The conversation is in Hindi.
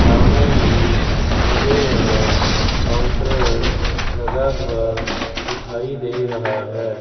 सामने ही मुझे यहां काउंटर लगा हुआ दिखाई दे रहा है।